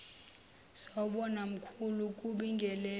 sawubona mkhulu kubingelela